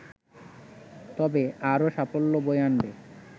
তবে আরও সাফল্য বয়ে আনবে